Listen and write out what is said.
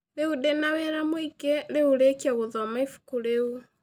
Rĩu ndĩ na wĩra mũingĩ, rĩu rĩkia gũthoma ibuku rĩu.